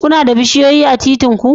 Kuna da bishiyoyi a titir ku?